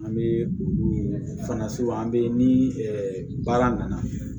An bɛ olu fana an bɛ ni baara nana